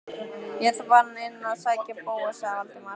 Ég er þá farinn inn að sækja Bóas- sagði Valdimar.